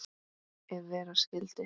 Ef vera skyldi.